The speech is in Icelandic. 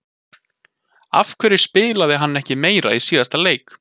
Af hverju spilaði hann ekki meira í síðasta leik?